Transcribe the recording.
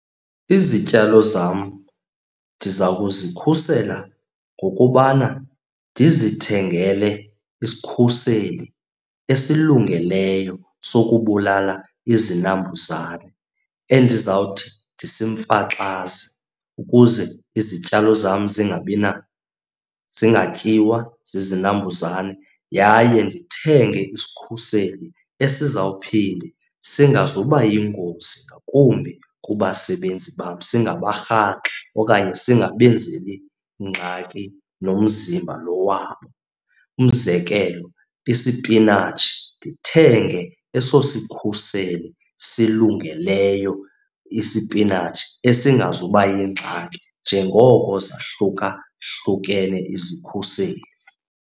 Izityalo zam ndizawukuzikhusela ngokubana ndizithengele isikhuseli esilungeleyo sokubulala izinambuzane endizawuthi ndisimfaxaze ukuze izityalo zam zingatyiwa zizinambuzane. Yaye ndithenge isikhuseli esizawuphinde singazuba yingozi ngakumbi kubasebenzi bam, singabarhaxi okanye singabenzeli ngxaki nomzimba lo wabo. Umzekelo isipinatshi ndithenge eso isikhuseli silungileyo isipinatshi esingazuba yingxaki njengoko zahlukahlukene izikhuseli.